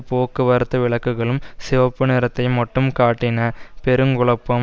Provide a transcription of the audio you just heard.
போக்குவரத்து விளக்குகளும் சிவப்பு நிறத்தை மட்டும் காட்டின பெருங்குழுப்பம்